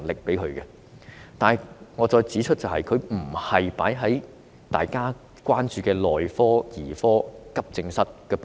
然而，我重申，撥款不是投放在大家關注的內科、兒科、急症室等部門。